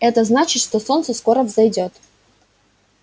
это значит что скоро солнце взойдёт